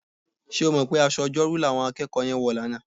Ṣé o mọ̀ pé aṣọ Ọjọ́rú làwọn akẹ́kọ̀ọ́ yẹn wọ̀ lánàá?